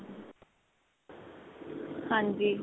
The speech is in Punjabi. ਹਾਂਜੀ.